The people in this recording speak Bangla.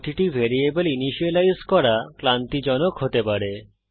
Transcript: প্রতিটি ভ্যারিয়েবল ইনিসিয়েলাইজ করা ক্লান্তিজনক হতে পারে